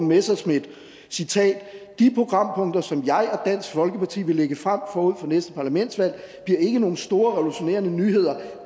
messerschmidt de programpunkter som jeg og dansk folkeparti vil lægge frem forud for næste parlamentsvalg bliver ikke nogle store revolutionerende nyheder